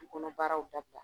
Du kɔnɔ baaraw dabila